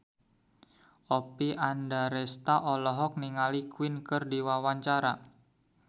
Oppie Andaresta olohok ningali Queen keur diwawancara